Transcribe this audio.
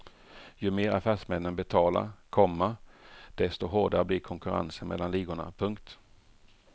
Ju mer affärsmännen betalar, komma desto hårdare blir konkurrensen mellan ligorna. punkt